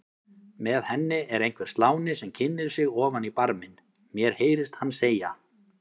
Með henni er einhver sláni sem kynnir sig ofan í barminn, mér heyrist hann segja